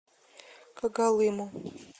когалыму